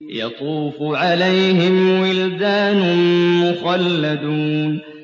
يَطُوفُ عَلَيْهِمْ وِلْدَانٌ مُّخَلَّدُونَ